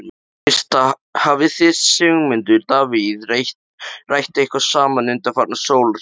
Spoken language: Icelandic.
Birta: Hafið þið Sigmundur Davíð rætt eitthvað saman undanfarna sólarhringa?